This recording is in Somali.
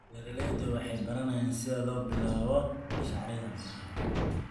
Beeraleydu waxay baranayaan sida loo bilaabo mashaariicda beeraha.